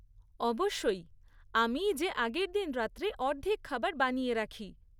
অবশ্যই, আমিই যে আগেরদিন রাত্রে অর্ধেক খাবার বানিয়ে রাখি।